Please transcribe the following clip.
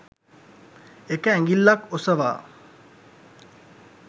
එක ඇඟිල්ලක් ඔසවා